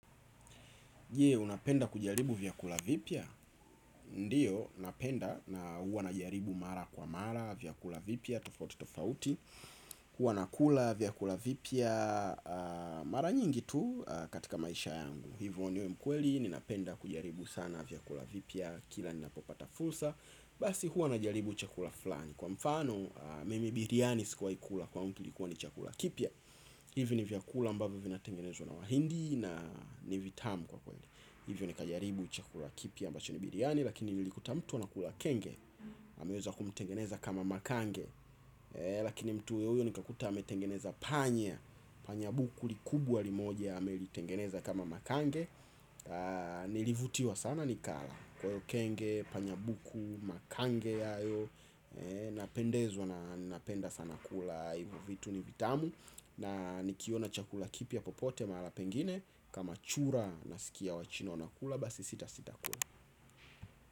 Je, unapenda kujaribu vyakula vipya? Ndiyo, napenda na hua najaribu mara kwa mara, vyakula vipya, tofauti, tofauti huwa nakula vyakula vipya mara nyingi tu katika maisha yangu. Hivu niwe mkweli, ninapenda kujaribu sana vyakula vipya, kila ninapopata fulsa. Basi hua najaribu chakula flani. Kwa mfano, mimi biriani sikuwahi kula kwangu kilikuwa ni chakula kipia. Hivi ni vyakula ambavyo vinatengenezwa na wahindi na ni vitamu kwa kweli. Hivyo nikajaribu chakula kipya ambacho ni biriani lakini nilikuta mtu anakula kenge. Hameweza kumtengeneza kama makange. Lakini mtu huyohuyo nikakuta ametengeneza panya. Panya buku likubwa limoja amelitengeneza kama makange. Nilivutiwa sana nikala. Kwa hiyo kenge, panya buku, makange yayo. Napendezwa na napenda sana kula hivyo vitu ni vitamu. Na nikiona chakula kipya popote mahala pengine. Kama chura nasikia wachino wanakula basi sitasita kula.